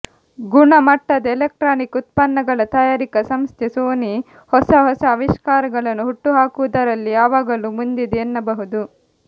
ಗುಣಮಟ್ಟದ ಎಲೆಕ್ಟ್ರಾನಿಕ್ ಉತ್ಪನ್ನಗಳ ತಯಾರಿಕಾ ಸಂಸ್ಥೆ ಸೋನಿ ಹೊಸ ಹೊಸ ಅವಿಷ್ಕಾರಗಳನ್ನು ಹುಟ್ಟುಹಾಕುವುದರಲ್ಲಿ ಯಾವಾಗಲೂ ಮುಂದಿದೆ ಎನ್ನಬಹುದು